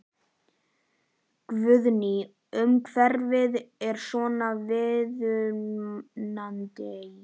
Guðný: Og umhverfið er svona viðunandi?